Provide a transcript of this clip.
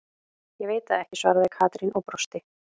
Ég veit það ekki svaraði Katrín og brosti.